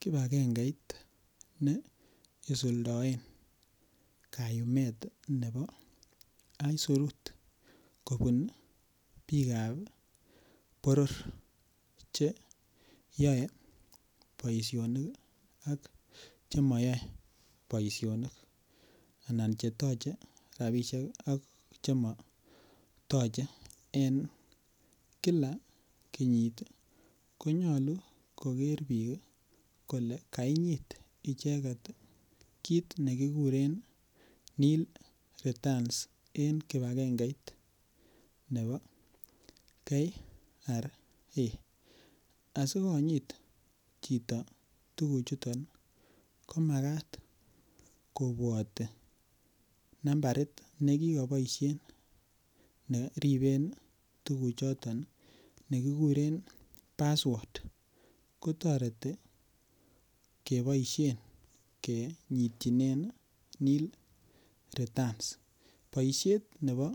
kibagengeit ne isuldoen kayumet nebo aisurut kobun bikap boror Che yoe boisionik ak Che moyoe boisionik anan Che toche rabisiek Che motoche en kila kenyit ko nyolu koger bik kole kainyit kit nekikuren nil returns en kibagengeit nebo KRA asi konyit chito tuguchuton komakat kobwati nambarit nekikoboisien kochoben tuguchoto nekikuren password kotoreti keboisien kinyityinen nil returns boisiet nebo